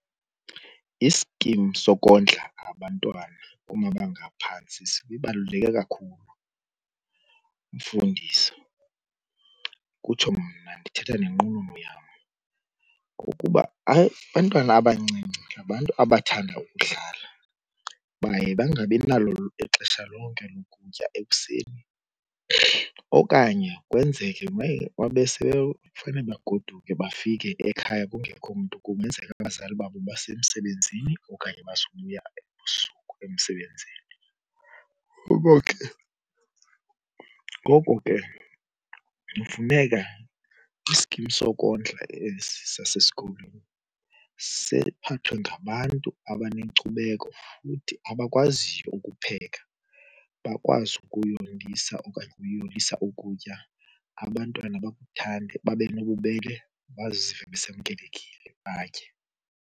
Iskim sokondla abantwana kumabanga aphantsi sibaluleke kakhulu mfundisi, kutsho mna ndithetha nenqununu yam. Kukuba hayi, abantwana abancinci ngabantu abathanda ukudlala baye bangabi nalo ixesha lonke lokutya ekuseni. Okanye kwenzeke baye uma sebefanele bagoduke bafike ekhaya kungekho mntu, kungenzeka abazali babo basemsebenzini okanye bazobuya ebusuku emsebenzini. Ngoko ke, ngoko ke kufuneka iskim sokondla esi sasesikolweni siphathwe ngabantu abanenkcubeko futhi abakwaziyo ukupheka. Bakwazi ukuyondisa okanye ukuyolisa ukutya abantwana bakuthande, babe nobubele bazive besamkelekile batye.